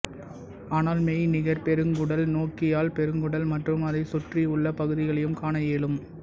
ஆனால் மெய்நிகர் பெருங்குடல் நோக்கியால் பெருங்குடல் மற்றும் அதைச் சுற்றி உள்ள பகுதிகளையும் காண இயலும்